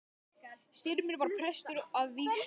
Styrmir var prestur að vígslu.